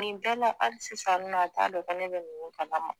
Nin bɛɛ la hali sisan nɔ a t'a dɔn ko ne bɛ nin kala ma